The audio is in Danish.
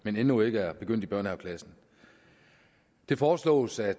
men endnu ikke er begyndt i børnehaveklassen det foreslås at